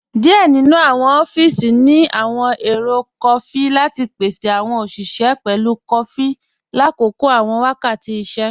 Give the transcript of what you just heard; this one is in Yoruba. Díẹ̀ nínu awọn ọfíísì ní awọn èrò kọfí lati pèsè awọn oṣiṣẹ pẹ̀lú kọfí látòkò awọn wákàtì ìṣẹ̀.